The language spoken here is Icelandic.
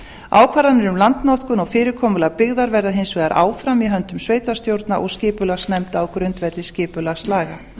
ákvarðanir um landnotkun á fyrirkomulagi byggðar verða hins vegar áfram í höndum sveitarstjórna og skipulagsnefnda á grundvelli skipulagslaga